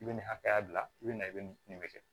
I bɛ nin hakɛya bila i bɛ na i bɛ nin bɛ kɛ